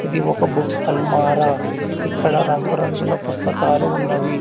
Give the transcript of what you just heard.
ఈ ఒక బుక్స్ అలమార ఇక్కడ రంగు రంగుల పుస్తకాలు ఉన్నవి.